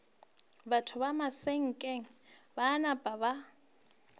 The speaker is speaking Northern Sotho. batho ba masakeng ba napa